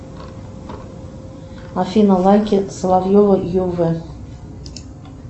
афина лайки соловьева ю в